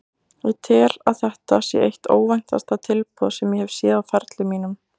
Ég tel að þetta sé eitt óvæntasta tilboð sem ég hef séð á ferli mínum.